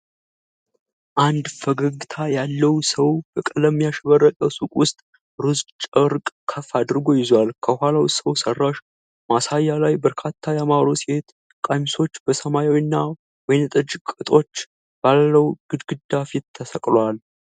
አንድ ፈገግታ ያለው ሰው በቀለም ያሸበረቀ ሱቅ ውስጥ ሮዝ ጨርቅ ከፍ አድርጎ ይዟል። ከኋላው ሰው ሠራሽ ማሳያ ላይ በርካታ ያማሩ ሴት ቀሚሶች በሰማያዊና ወይንጠጅ ቅጦች ባለው ግድግዳ ፊት ተሰቅለዋል።